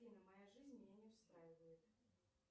афина моя жизнь меня не устраивает